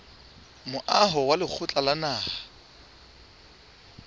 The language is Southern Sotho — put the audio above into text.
moaho wa lekgotla la naha